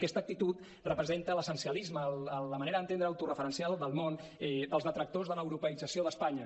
aquesta actitud representa l’essencialisme la manera d’entendre autoreferencial del món dels detractors de l’europeïtzació d’espanya